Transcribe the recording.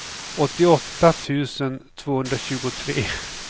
åttioåtta tusen tvåhundratjugotre